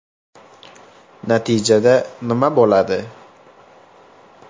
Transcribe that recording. Natijada nima bo‘ladi?